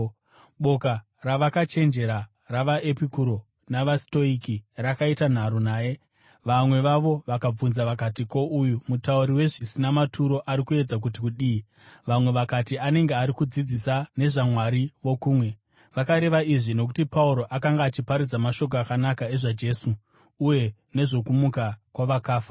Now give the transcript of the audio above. Boka ravakachenjera ravaEpikuro navaStoiki rakaita nharo naye. Vamwe vavo vakabvunza vakati, “Ko, uyu mutauri wezvisina maturo ari kuedza kuti kudii?” Vamwe vakati, “Anenge ari kudzidzisa nezvavamwari vokumwe.” Vakareva izvi nokuti Pauro akanga achiparidza mashoko akanaka ezvaJesu uye nezvokumuka kwavakafa.